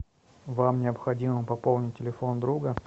вам необходимо пополнить телефон друга